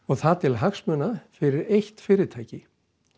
það til hagsmuna fyrir eitt fyrirtæki